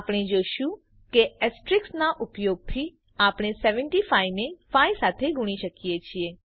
આપણે જોયું કે એસ્ટરિસ્ક ના ઉપયોગ થી આપણે 75 ને 5 સાથે ગુણી શકીએ છીએ